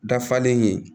Dafalen ye